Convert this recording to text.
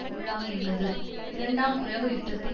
உள்ளாகியுள்ளது இரண்டாம் உலக யுத்தத்தின்